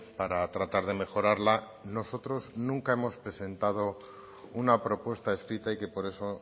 para tratar de mejorarla nosotros nunca hemos presentado una propuesta escrita y que por eso